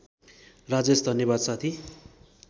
राजेश धन्यवाद साथी